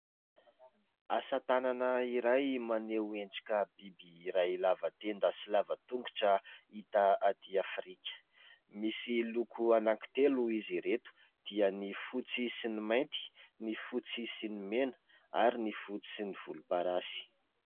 Asa tànana iray maneho antsika biby iray lava tenda sy lava tongotra, hita atỳ Afrika. Misy loko anankitelo izy ireto dia : ny fotsy sy ny mainty, ny fotsy sy ny mena, ary ny fotsy sy ny volomparasy.